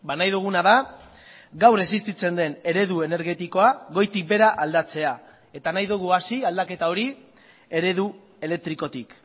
nahi duguna da gaur existitzen den eredu energetikoa goitik behera aldatzea eta nahi dugu hasi aldaketa hori eredu elektrikotik